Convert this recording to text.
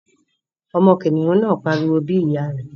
Ọmọ kìnìún náà pariwo bí ìyá rẹ̀